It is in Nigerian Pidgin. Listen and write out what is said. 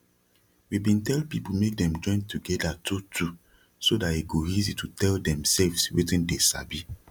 we bin tell people make dem join to gada two two so that e go easy to tell demselves wetin dey sabi